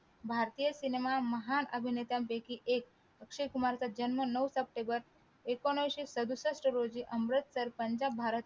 भारतीय सिनेमा महान अभिनेत्यांपैकी एक अक्षय कुमार चा जन्म नऊ सप्टेंबर एकोणविशे सदुसष्ठ रोजी अमृतसर पंजाब भारत